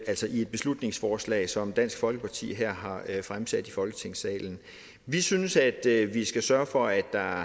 altså i et beslutningsforslag som dansk folkeparti her har fremsat i folketingssalen vi synes at vi skal sørge for at der